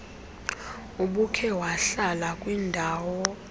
ubukhe wahlala kwindaw